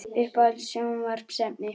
Uppáhalds sjónvarpsefni?